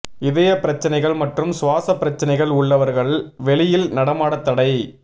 இதய பிரச்னைகள் மற்றும் சுவாச பிரச்னைகள் உள்ளவர்களை வெளியில் நடமாட தடை